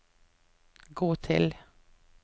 gå til